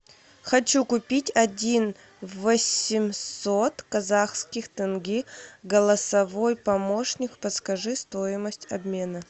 хочу купить один восемьсот казахских тенге голосовой помощник подскажи стоимость обмена